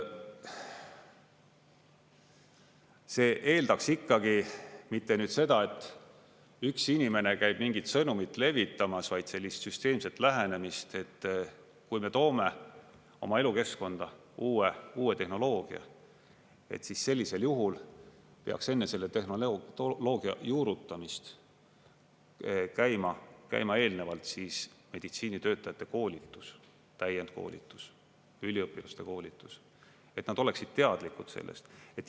See eeldaks ikkagi mitte nüüd seda, et üks inimene käib mingit sõnumit levitamas, vaid sellist süsteemset lähenemist, et kui me toome oma elukeskkonda uue tehnoloogia, siis sellisel juhul peaks enne selle tehnoloogia juurutamist käima eelnevalt meditsiinitöötajate koolitus, täiendkoolitus, üliõpilaste koolitus, et nad oleksid teadlikud sellest.